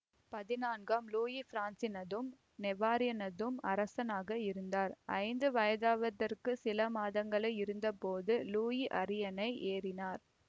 பதினான்காம் லூயி பிரான்சினதும் நெவாரினதும் அரசனாக இருந்தார் ஐந்து வயதாவதற்குச் சில மாதங்களே இருந்தபோது லூயி அரியணை ஏறினார்